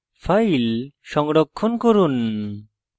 file সংরক্ষণ করুন